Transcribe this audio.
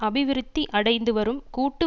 அபிவிருத்தி அடைந்து வரும் கூட்டு